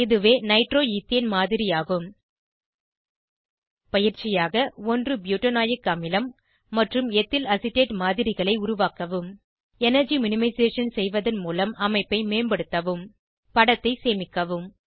இதுவே நைட்ரோஈத்தேன் மாதிரியாகும் பயிற்சியாக 1 ப்யூட்டனாயிக் அமிலம் மற்றும் எத்தில்அசிட்டேட் மாதிரிகளை உருவாக்கவும் எனர்ஜி மினிமைசேஷன் செய்வதன் மூலம் அமைப்பை மேம்படுத்தவும் படத்தை சேமிக்கவும்